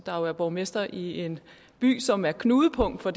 er jo er borgmester i en by som er knudepunkt for